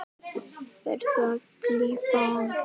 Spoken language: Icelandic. Verður að klífa hann.